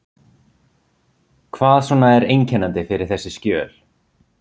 Hvað svona er einkennandi fyrir þessi skjöl?